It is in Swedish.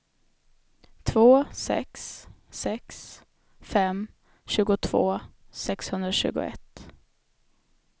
två sex sex fem tjugotvå sexhundratjugoett